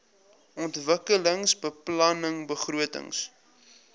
ontwikkelingsbeplanningbegrotings